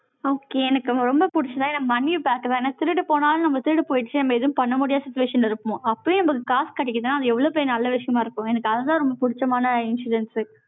okay, எனக்கு ரொம்ப பிடிச்சதா, என்னை money பார்க்க வேண்டாம். என்னை திருடு போனாலும், நம்ம திருடு போயிருச்சு. நம்ம எதுவும் பண்ண முடியாத situation இருக்கும் அப்பவே நமக்கு காசு கிடைக்குதுன்னா, அது எவ்வளவு பெரிய நல்ல விஷயமா இருக்கும்? எனக்கு அதுதான் ரொம்ப பிடிச்சமான insurance உ